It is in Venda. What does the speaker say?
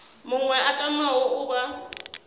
muṅwe a tamaho u vha